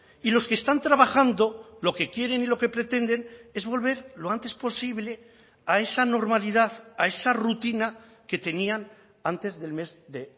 y los que están trabajando lo que quieren y lo que pretenden es volver lo antes posible a esa normalidad a esa rutina que tenían antes del mes de